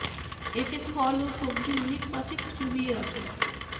এতে ফল ও সবজি মিনিট পাঁচেক চুবিয়ে রাখুন